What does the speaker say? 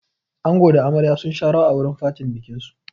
Ango da amarya sun sha rawa a wurin fatin bikin su.